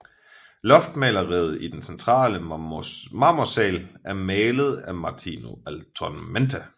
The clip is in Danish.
Loftmaleriet i den centrale Marmorsaal er malet af Martino Altomonte